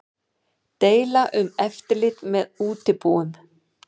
Deila um eftirlit með útibúum